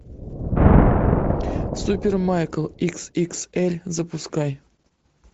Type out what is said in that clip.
супер майк икс икс эль запускай